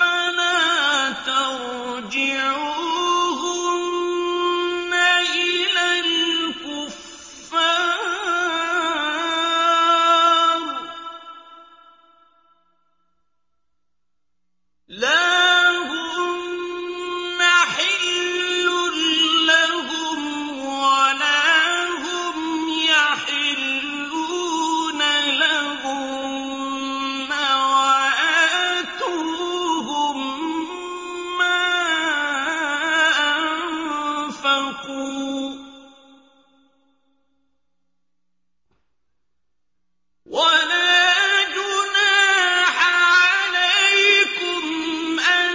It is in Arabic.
فَلَا تَرْجِعُوهُنَّ إِلَى الْكُفَّارِ ۖ لَا هُنَّ حِلٌّ لَّهُمْ وَلَا هُمْ يَحِلُّونَ لَهُنَّ ۖ وَآتُوهُم مَّا أَنفَقُوا ۚ وَلَا جُنَاحَ عَلَيْكُمْ أَن